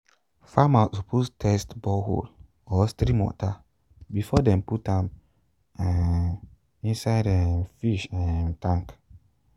farmer suppose test borehole or stream water before dem put am um inside um fish um tank